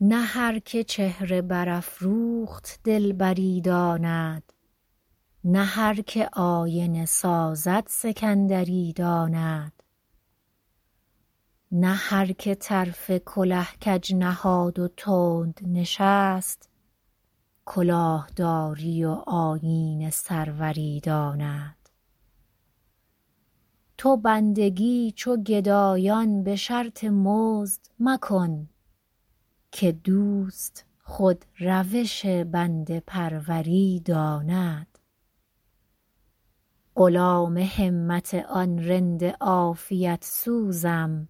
نه هر که چهره برافروخت دلبری داند نه هر که آینه سازد سکندری داند نه هر که طرف کله کج نهاد و تند نشست کلاه داری و آیین سروری داند تو بندگی چو گدایان به شرط مزد مکن که دوست خود روش بنده پروری داند غلام همت آن رند عافیت سوزم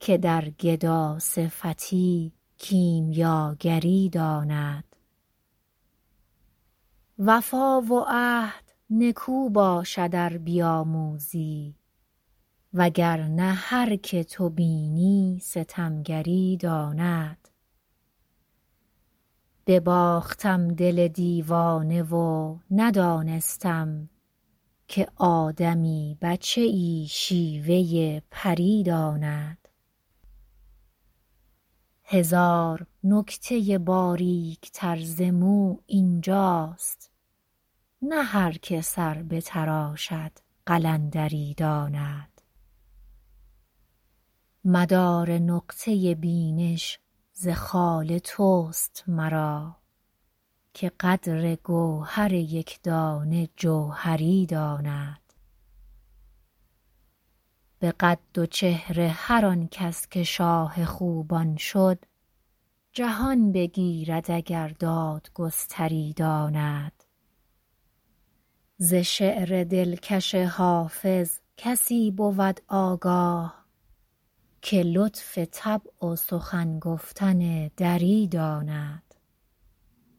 که در گداصفتی کیمیاگری داند وفا و عهد نکو باشد ار بیاموزی وگر نه هر که تو بینی ستمگری داند بباختم دل دیوانه و ندانستم که آدمی بچه ای شیوه پری داند هزار نکته باریک تر ز مو این جاست نه هر که سر بتراشد قلندری داند مدار نقطه بینش ز خال توست مرا که قدر گوهر یک دانه جوهری داند به قد و چهره هر آن کس که شاه خوبان شد جهان بگیرد اگر دادگستری داند ز شعر دلکش حافظ کسی بود آگاه که لطف طبع و سخن گفتن دری داند